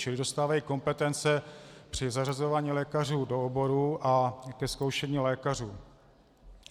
Čili dostávají kompetence při zařazování lékařů do oborů a ke zkoušení lékařů.